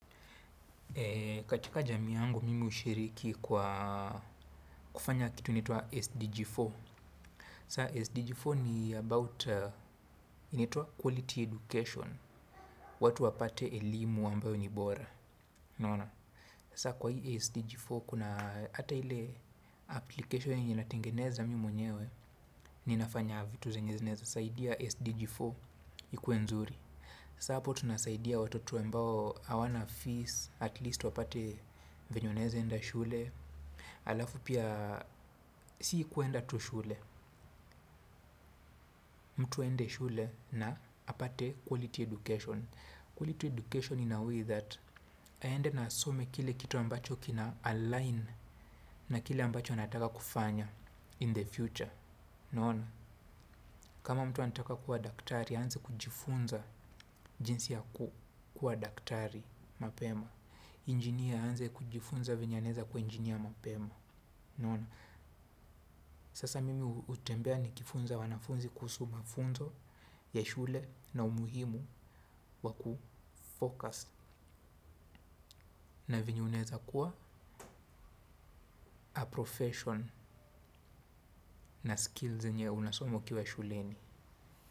Katika jami yangu mimi ushiriki kwa kufanya kitu inaitwa SDG4, Saa SDG4 ni about, inaitwa quality education. Watu wapate elimu ambayo ni bora, unaona? Saa kwa hii SDG4 kuna ata ile. Application inatengeneza mimi mwenyewe. Ninafanya vitu zenye zinaweza, saidia SDG4 ikuwe nzuri. Sa hapo tunasaidia watoto ambao hawana fees, at least wapate venye wanaezaenda shule. Alafu pia, si kuenda tu shule. Mtu haende shule na apate quality education, quality education in a way that, aende na asome kile kitu ambacho kina align na kile ambacho anataka kufanya, in the future. Kama mtu anataka kuwa daktari, aanze kujifunza jinsi ya kuwa daktari mapema. Engineer aanze kujifunza vyenye anaeza kuwa engineer ya mapema, sasa mimi utembea nikifunza wanafunzi kuhusu mafunzo ya shule, na umuhimu wakufocus. Na venye unaeza kuwa a profession na skills zenye unasomo ukiwa shuleni.